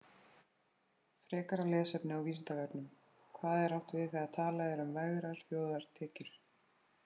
Frekara lesefni á Vísindavefnum: Hvað er átt við þegar talað er um vergar þjóðartekjur?